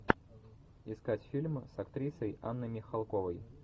искать фильмы с актрисой анной михалковой